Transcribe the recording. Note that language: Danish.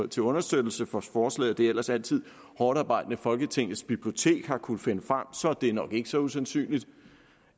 til understøttelse for forslaget det ellers altid hårdtarbejdende folketingets bibliotek har kunnet finde frem så er det nok ikke så usandsynligt